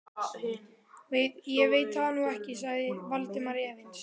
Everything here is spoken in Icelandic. Ég veit það nú ekki sagði Valdimar efins.